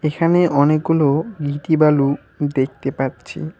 এখানে অনেকগুলো ইঁট বালু দেখতে পাচ্ছি।